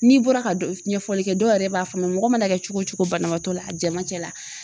N'i bɔra ka ɲɛfɔli kɛ dɔw yɛrɛ b'a faamuya mɔgɔ mana kɛ cogo cogo banabaatɔ la a jɛman cɛ la